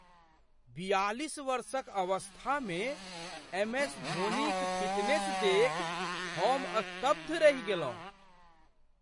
बियालिस वर्षक अवस्थामे एमएस धोनीक फिटनेस देखि हम स्तब्ध रहि गेलहुँ।